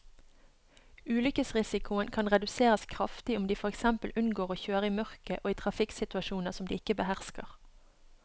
Ulykkesrisikoen kan reduseres kraftig om de for eksempel unngår å kjøre i mørket og i trafikksituasjoner som de ikke behersker.